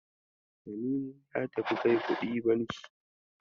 Tanimu ya tafi kai kuɗi banki.